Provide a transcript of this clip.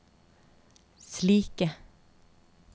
slike